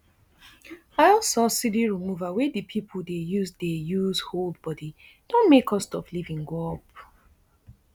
oil subsidy removal wey di pipo dey use dey use hold body don make cost of living go up